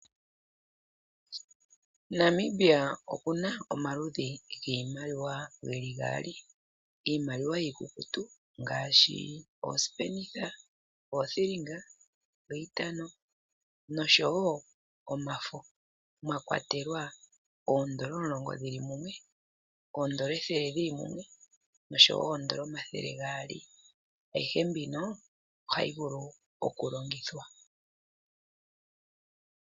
Namibia okuna omaludhi gwiimaliwa geli gaali, iimaliwa yiikukutu ngaashi oosipenitha, oothilinga, oointano nosho woo omafo mwakwatelwa oodolla omulongo dhili mumwe, oodolla ethele li li mumwe nosho woo oodolla omathele geli gaali, ayihe mbyono ohayi vulu oku longekidhwa.